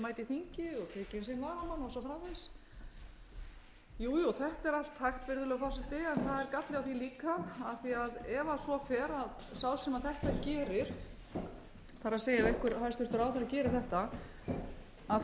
varamann og svo framvegis jú jú þetta er allt hægt virðulegur forseti en það er galli á því líka af því ef svo fer að sá sem þetta gerir það er ef hæstvirtur